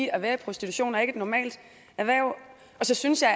at være i prostitution er ikke et normalt erhverv så synes jeg